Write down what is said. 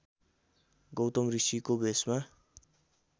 गौतम ऋषिको भेषमा